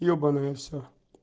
ебаное все